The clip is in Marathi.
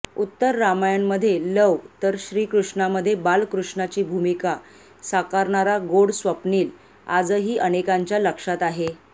उत्तर रामायणमध्ये लव तर श्री कृष्णामध्ये बालकृष्णाची भूमिका साकारणारा गोड स्वप्निल आजही अनेकांंच्या लक्षात आहे